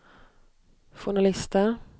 journalister